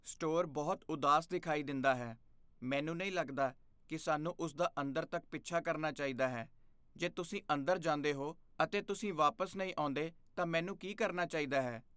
Store ਬਹੁਤ ਉਦਾਸ ਦਿਖਾਈ ਦਿੰਦਾ ਹੈ। ਮੈਨੂੰ ਨਹੀਂ ਲੱਗਦਾ ਕਿ ਸਾਨੂੰ ਉਸ ਦਾ ਅੰਦਰ ਤੱਕ ਪਿੱਛਾ ਕਰਨਾ ਚਾਹੀਦਾ ਹੈ। ਜੇ ਤੁਸੀਂ ਅੰਦਰ ਜਾਂਦੇ ਹੋ ਅਤੇ ਤੁਸੀਂ ਵਾਪਸ ਨਹੀਂ ਆਉਂਦੇ ਤਾਂ ਮੈਨੂੰ ਕੀ ਕਰਨਾ ਚਾਹੀਦਾ ਹੈ?